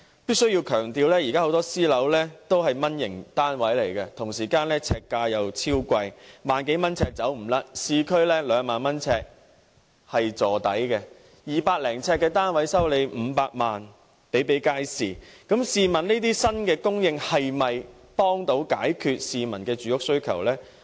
必須強調，現時推出的私人樓宇很多屬"蚊型單位"，呎價卻十分昂貴，最低要1萬多元，市區單位的呎價更最少要2萬元，一個200多呎的單位叫價500萬元的情況比比皆是，試問這些新供應的單位，可否幫到市民解決住屋需求？